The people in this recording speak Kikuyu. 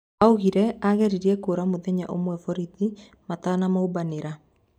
Arauga ageririe kuura muthenya umwe borithi matanamumbanira